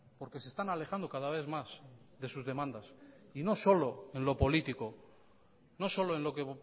porque se están alejando cada vez más de sus demandas y no solo en lo político no solo en lo que